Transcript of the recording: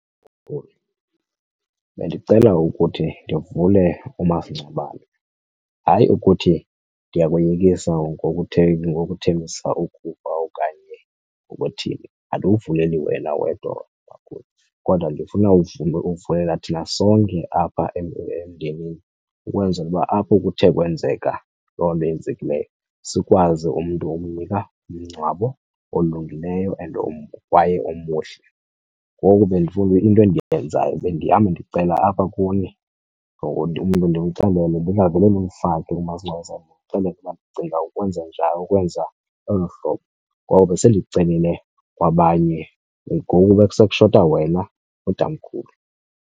Bendicela ukuthi ndivule umasingcwabane. Hayi ukuthi ndiyakoyikisa ngokuthembisa ukufa okanye ngokuthini, andiwuvumeli wena wedwa kodwa ndifuna ukuvulela thina sonke apha ukwenzela uba apho kuthe kwenzeka loo nto yenzekileyo sikwazi umntu ukunika umngcwabo olungileyo and kwaye omuhle. Ngoku bendifuna into endiyenzayo bendihamba ndicela apha kuni umntu ndimxelele ndingavele ndimfake kumasingcwabisane ndimxelele uba ndicinga ukwenza njalo ukwenza ngolo hlobo, ngoba besendicelile kwabanye ngoku besekushota wena tamkhulu.